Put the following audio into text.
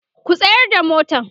ku tsayar da motan!.